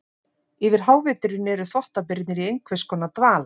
Yfir háveturinn eru þvottabirnir í einhvers konar dvala.